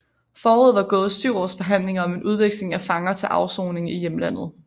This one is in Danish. Forud var gået syv års forhandlinger om en udveksling af fanger til afsoning i hjemlandet